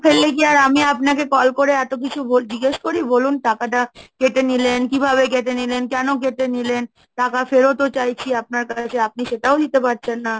ফেললে কি আর আমি আপনাকে call করে এত কিছু ভোট জিজ্ঞেস করি বলুন টাকাটা কেটে নিলেন, কিভাবে কেটে নিলেন? কেন কেটে নিলেন? টাকা ফেরতও চাইছি আপনার কাছে, আপনি সেটাও দিতে পারছেন না?